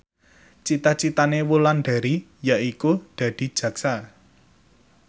cita citane Wulandari yaiku dadi jaksa